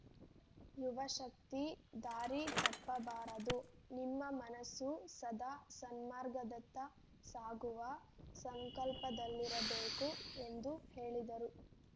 ಯುವಶಕ್ತಿ ದಾರಿ ತಪ್ಪ ಬಾರದು ನಿಮ್ಮ ಮನಸ್ಸು ಸದಾ ಸನ್ಮಾರ್ಗದತ್ತ ಸಾಗುವ ಸಂಕಲ್ಪದಲ್ಲಿರಬೇಕು ಎಂದು ಹೇಳಿದರು